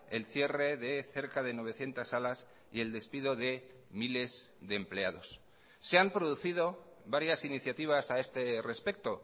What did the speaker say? el cierre de cerca de novecientos salas y el despido de miles de empleados se han producido varias iniciativas a este respecto